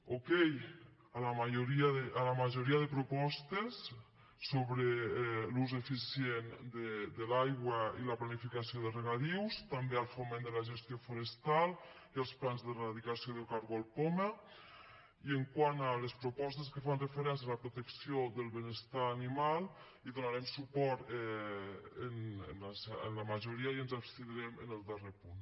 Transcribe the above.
okay a la majoria de propostes sobre l’ús eficient de l’aigua i la planificació de regadius també al foment de la gestió forestal i als plans d’eradicació del cargol poma i quant a les propostes que fan referència a la protecció del benestar animal hi donarem suport en la majoria i ens abstindrem en el darrer punt